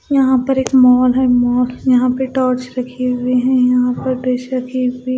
यहां पर एक मॉल है मॉल यहां पे टॉर्च रखी हुई है यहां पर प्रेशर की हुई।--